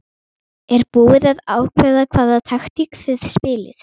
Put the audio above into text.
Ertu búinn að ákveða hvaða taktík þið spilið?